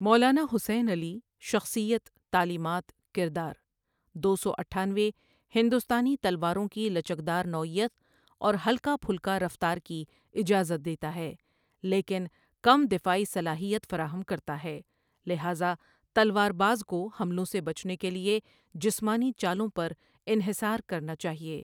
مولانا حسین علی، شخصیت، تعلیمات، کردار دو سو اٹھانوے ہندوستانی تلواروں کی لچکدار نوعیت اور ہلکا پھلکا رفتار کی اجازت دیتا ہے لیکن کم دفاعی صلاحیت فراہم کرتا ہے لہذا تلوار باز کو حملوں سے بچنے کے لیے جسمانی چالوں پر انحصار کرنا چاہیے۔